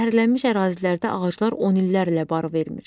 Zəhərlənmiş ərazilərdə ağaclar on illərlə bar vermir.